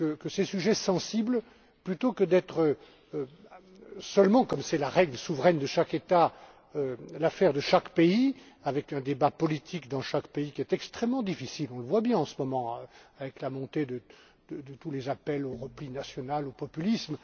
Ces sujets sensibles ne doivent plus être seulement, comme c'est la règle souveraine de chaque État, l'affaire de chaque pays, avec un débat politique dans chaque pays qui est extrêmement difficile on le voit bien, en ce moment, avec la montée de tous les appels au repli national et au populisme.